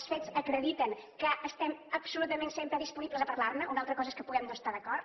els fets acrediten que estem absolutament sempre disponibles a parlar ne una altra cosa és que puguem no estar hi d’acord